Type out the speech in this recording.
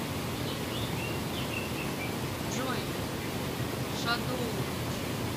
джой шадоувитч